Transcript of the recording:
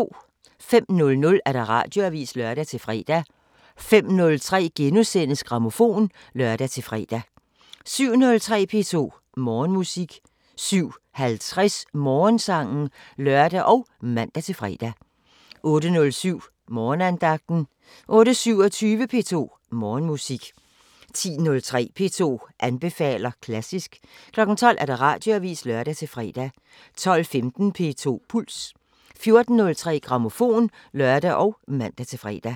05:00: Radioavisen (lør-fre) 05:03: Grammofon *(lør-fre) 07:03: P2 Morgenmusik 07:50: Morgensangen (lør og man-fre) 08:07: Morgenandagten 08:27: P2 Morgenmusik 10:03: P2 anbefaler klassisk 12:00: Radioavisen (lør-fre) 12:15: P2 Puls 14:03: Grammofon (lør og man-fre)